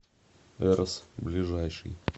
эрос ближайший